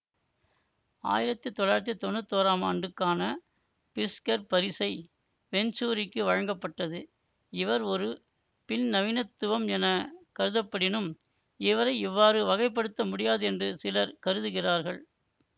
ஆயிரத்தி தொள்ளாயிரத்தி தொன்னூத்தி ஒறாம் ஆண்டுக்கான பிறிட்ஸ்கர் பரிசை வெஞ்சூரிக்கு வழங்கப்பட்டது இவர் ஒரு பின்நவீனத்துவம் என கருதப்படினும் இவரை இவ்வாறு வகைப்படுத்த முடியாது என்று சிலர் கருதுகிறார்கள்